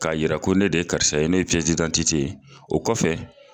Ka yiri ko ne de ye karisa ye ne ye piyɛsi didantite ye o kɔfɛ